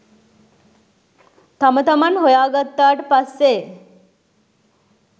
තම තමන් හොයා ගත්තාට පස්සේ